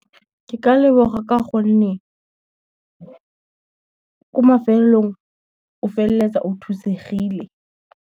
Ke ka leboga ka gonne ko mafelelong, o feleletsa o thusegile.